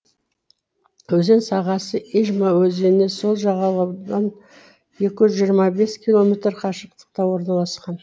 өзен сағасы ижма өзенінің сол жағалауынан екі жүз жиырма бес километр қашықтықта орналасқан